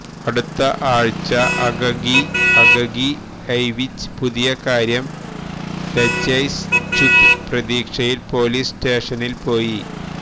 അടുത്ത ആഴ്ച അകകിയ് അകകിഎവിഛ് പുതിയ കാര്യം രജ്യ്സ്ഛുത് പ്രതീക്ഷയിൽ പോലീസ് സ്റ്റേഷനിൽ പോയി